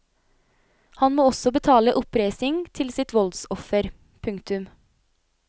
Han må også betale oppreisning til sitt voldsoffer. punktum